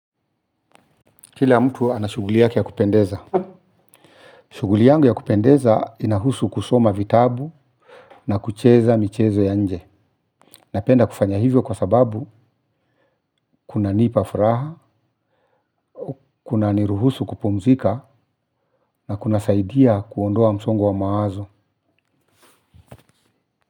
Kila mtu anashuguli yake ya kupendeza. Shuguli yangu ya kupendeza inahusu kusoma vitabu na kucheza michezo ya nje. Napenda kufanya hivyo kwa sababu kuna nipa fraha, kuna niruhusu kupumzika na kunasaidia kuondoa msongo wa mawazo.